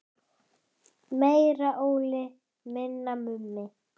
Meira Óli, minna Mummi!